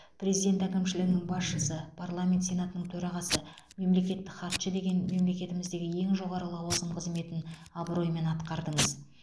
президент әкімшілігінің басшысы парламент сенатының төрағасы мемлекеттік хатшы деген мемлекетіміздегі ең жоғары лауазым қызметін абыроймен атқардыңыз